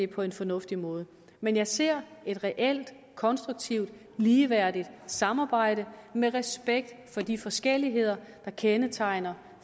på en fornuftig måde men jeg ser et reelt konstruktivt ligeværdigt samarbejde med respekt for de forskelligheder der kendetegner